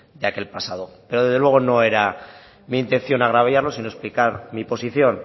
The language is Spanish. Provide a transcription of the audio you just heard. de aquel pasado pero desde luego no era mi intención agraviarlo sino explicar mi posición